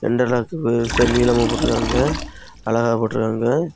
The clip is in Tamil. அந்த காலத்து பெருசா நீலாம போட்டு இருக்காங்க அழகா போட்டு இருக்காங்க.